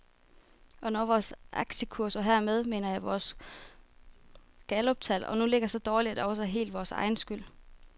Og når vores aktiekurser, hermed mener jeg vores galluptal, nu ligger så dårligt, er det også helt vores egen skyld.